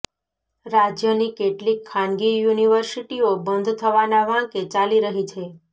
રાજ્યની કેટલીક ખાનગી યુનિવર્સિટીઓ બંધ થવાના વાંકે ચાલી રહી છે